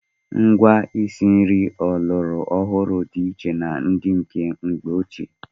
Ngwa isi nri ọlọrọ ọhụrụ dị iche na ndị nke mgbe ochie.